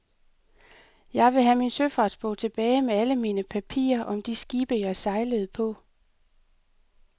Jeg vil have min søfartsbog tilbage med alle mine papirer om de skibe, jeg sejlede på.